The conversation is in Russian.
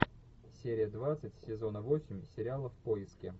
серия двадцать сезона восемь сериала в поиске